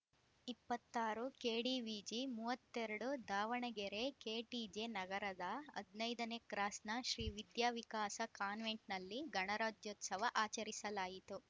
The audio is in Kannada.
ಇಪ್ಪತ್ತ್ ಆರು ಕೆಡಿವಿಜಿ ಮೂವತ್ತೆ ರಡು ದಾವಣಗೆರೆ ಕೆಟಿಜೆ ನಗರದ ಹದಿನೈದನೇ ಕ್ರಾಸ್‌ನ ಶ್ರೀವಿದ್ಯಾವಿಕಾಸ ಕಾನ್ವೆಂಟ್‌ನಲ್ಲಿ ಗಣರಾಜ್ಯೋತ್ಸವ ಆಚರಿಸಲಾಯಿತು